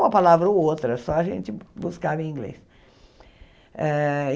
Uma palavra ou outra, só a gente buscava em inglês. Eh